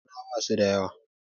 Arna basu da yawa